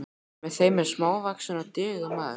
Með þeim er smávaxinn og digur maður.